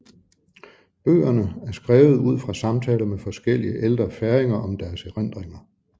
Bøgerne er skrevet ud fra samtaler med forskellige ældre færinger om deres erindringer